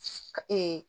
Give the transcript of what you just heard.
Ka